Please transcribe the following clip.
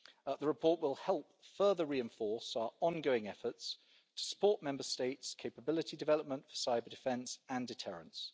The report will help further reinforce our ongoing efforts to support Member States' capability development for cyber-defence and deterrence.